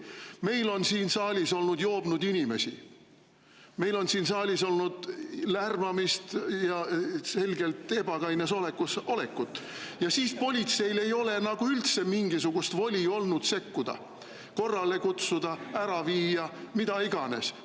Meil on siin saalis olnud joobnud, selgelt ebakaines olekus inimesi, meil on siin saalis olnud lärmamist, aga siis politseil ei ole nagu üldse olnud mingisugust voli sekkuda, korrale kutsuda, ära viia, mida iganes.